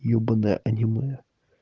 ебаное аниме